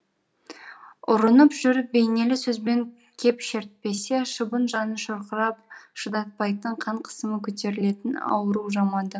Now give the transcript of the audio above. ұрынып жүріп бейнелі сөзбен кеп шертпесе шыбын жаны шырқырап шыдатпайтын қан қысымы көтерілетін ауру жамады